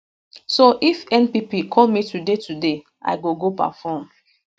so if npp call me today today i go go perform